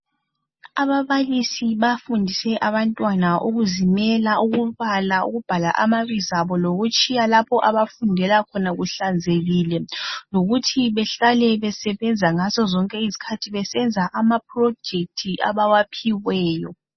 Ababalisi bafundise abantwana ukuzimela ukubala ukubhala amabizo abo lokutshiya lapho abafundela khona kuhlanzekile, lokuthi behlale besebenza ngazo zonke izikhathi besenza amaprojethi abawaphiweyo.